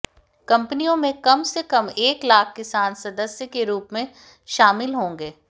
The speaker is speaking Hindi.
कंपनियों में कम से कम एक लाख किसान सदस्य के रूप में शामिल होंगे